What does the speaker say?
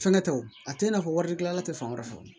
Fɛnkɛ tɛ o a tɛ i n'a fɔ wari gilanna tɛ fan wɛrɛ fɛ